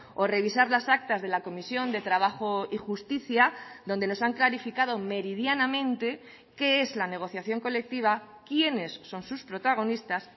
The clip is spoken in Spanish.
o revisar las actas de la comisión de trabajo y justicia donde nos han clarificado meridianamente qué es la negociación colectiva quiénes son sus protagonistas